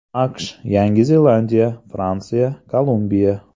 AQSh, Yangi Zelandiya, Fransiya, Kolumbiya.